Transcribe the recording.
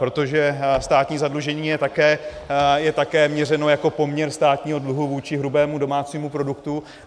Protože státní zadlužení je také měřeno jako poměr státního dluhu vůči hrubému domácímu produktu.